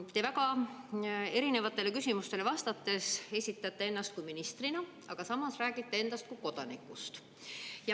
Te väga erinevatele küsimustele vastates esitasite ennast ministrina, aga samas rääkisite endast kui kodanikust.